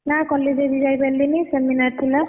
ନା college ଆଜି ଯାଇପାରିଲିନି seminar ଥିଲା।